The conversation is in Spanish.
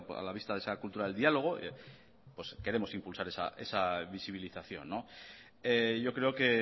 a la vista de esa cultura del diálogo queremos impulsar esa visibilización yo creo que